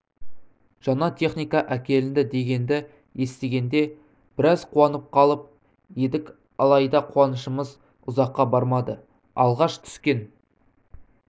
жаңа техника әкелінді дегенді естігенде біраз қуанып қалып едік алайда қуанышымыз ұзаққа бармады алғаш түскен